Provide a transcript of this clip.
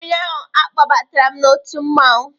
Ụnyaahụ, a kpọbatara m n'otu mmanwụ